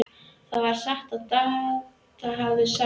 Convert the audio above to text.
Það var satt sem Dadda hafði sagt.